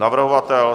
Navrhovatel?